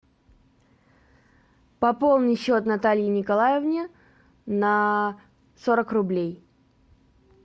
пополни счет наталье николаевне на сорок рублей